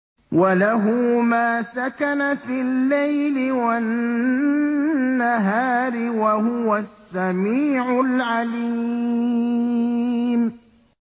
۞ وَلَهُ مَا سَكَنَ فِي اللَّيْلِ وَالنَّهَارِ ۚ وَهُوَ السَّمِيعُ الْعَلِيمُ